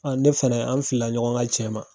ne fana an filila ɲɔgɔn ka cɛn ma.